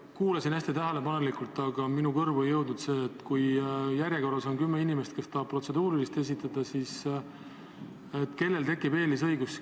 Ma kuulasin hästi tähelepanelikult, aga minu kõrvu ei jõudnud vastust sellele küsimusele, et kui järjekorras on kümme inimest, kes tahavad protseduurilise küsimuse esitada, siis kellel tekib eesõigus.